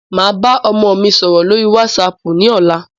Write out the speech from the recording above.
Màá bá ọmọ mi sọ̀rọ̀ lórí wásaàpù ní ọ̀la.